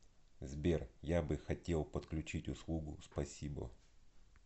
сбер я бы хотел подключить услугу спасибо